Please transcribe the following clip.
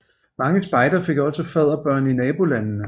Mange spejdere fik også fadderbørn i nabolandene